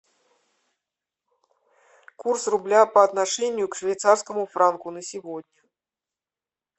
курс рубля по отношению к швейцарскому франку на сегодня